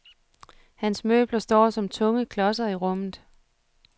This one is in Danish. Hans møbler står som tunge klodser i rummet.